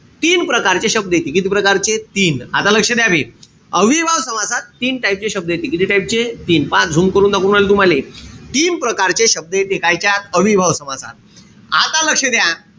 तीन प्रकारचे शब्द येतील. किती प्रकारचे? तीन. आता लक्ष द्या बे. अव्ययीभाव समासात तीन type चे शब्द. किती type चे? तीन. पहा zoom करून दाखवून राहिलो तुम्हले? तीन प्रकारचे शब्द येते. कायच्यात? अव्ययीभाव समासात. आता लक्ष द्या.